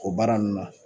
O baara ninnu na